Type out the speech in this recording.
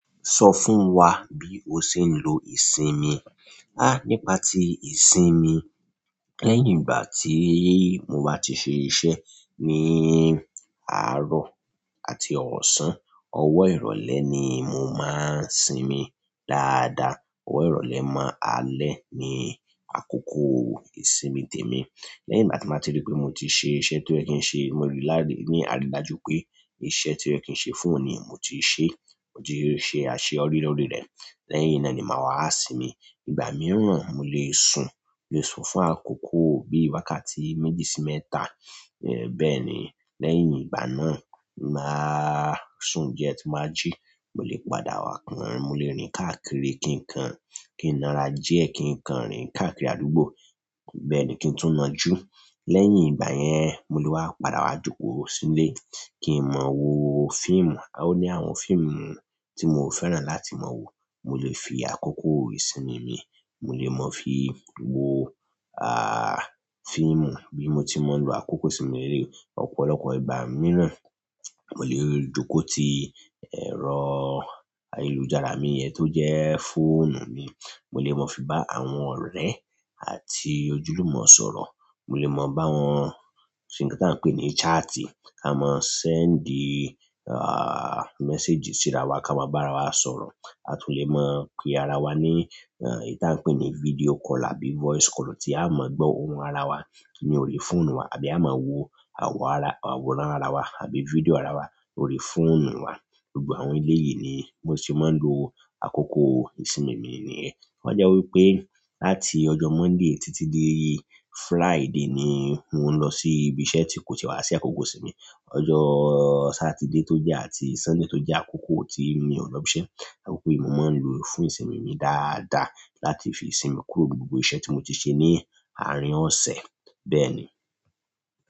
Sọ fún wa bí o ṣe ń lo ìsinmi. Nípa ti ìsinmi, lẹ́yìn ìgbà tí mo bá ti ṣe iṣẹ́ ní àárọ̀ àti ọ̀sán, ọwọ́ ìrọ̀lẹ́ ni mo máa ń sinmi dáadáa. Ọwọ́ ìrọ̀lẹ́ mọ́ alẹ́ ni àkókò ìsinmi tèmi. Lẹ́yìn igbá ti mo ba tí rí pé mo ti ṣe iṣẹ́ tí ó yẹ kí n ṣe, mo rí lári ní àrídájú pé iṣẹ́ tí ó yẹ kí ṣe fún òní mo ti ṣe, mo ti ṣe àṣeyọrí lórí rẹ̀. Lẹ́yìn náà ni màá wá sinmi. Ìgbà mìíràn mo lè sùn, mo lè sùn fún àkókò bíi wákàtí méjì sí mẹ́ta. Ẹ̀ bẹ́ẹ̀ni, lẹ́yìn ìgbà náà, màá sùn díẹ̀ tí màá jí, mo lè padà wá kàn, mo lè rìn káàkiri kí n kan, kí n na ra diẹ kí n kan rìn káàkiri àdúgbò. Ẹ̀ bẹ́ẹ̀ni, kí n tún nà jú. Lẹ́yìn ìgbà yẹn, mo lè wá padà wá joko sílé kí n mọ wo fíìmù. Ó ní àwọn fíìmù tí mo fẹ́ràn láti mọ wo. Mo lè fi àkókò ìsinmi mi, mo lè mọ̀ fi wo, fíìmù bí mo ti máa ń lo àkókò ìsinmi mi leleyi ọ́pọ̀lọpọ̀ ìgbà mìíràn. Mo lè jókò ti ẹ̀rọ ayélujára mi yẹn tó jẹ́ fóònù mi, mo lè mọ̀ fi bá àwọn ọ̀rẹ́ àti ojúlùmọ̀ sọ̀rọ̀. Mo lè mọ̀ bá wọn ṣe nǹkan tí wọ́n ń pè ní ṣáàtì, kí a mọ sì ń dí ah, méséjì sí ara wa, kí a mọ bá ara wa sọ̀rọ̀. A tún lè mọ̀ pe ara wa ní, èyí tí à ń pè ní fídíò call àbí voice call tí a mọ ń gbọ́ ohùn ara wa ní orí fóònù wa àbí a máa wo àwòrán ara àwòrán ara wa àbí fídíò ara wa lórí fóònù wa. Gbogbo àwọn ele yìí ni mo ṣe mọ ń lo àkókò ìsinmi mi nìyẹn. Ó jẹ́ wí pé láti ọjọ́ Monday títí dé Friday ni mò ń lọ sí ibi iṣẹ́ tí kò tíì e wá sí àkókò ìsinmi. Ọjọ́ Saturday tó jẹ́ àti Sunday tó jẹ́ àkókò tí mi ò lọ ibi iṣẹ́, àkókò yìí mo máa ń lo fún ìsinmi mi dáadáa láti fi sinmi kúrò gbogbo iṣẹ́ tí mo ti ṣe ní àárín ọ̀sẹ̀. Bẹ́ẹ̀ ni.